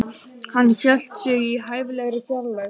Hann hélt sig í hæfilegri fjarlægð.